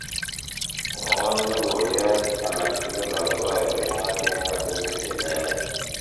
mwowon logoyot alaktugul agopo uleging'oten ngotutik jelelach